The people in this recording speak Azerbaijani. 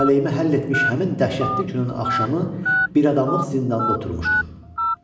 Talehimə həll etmiş həmin dəhşətli günün axşamı biradamlıq zindanda oturmuşdum.